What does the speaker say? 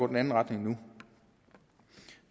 den anden retning nu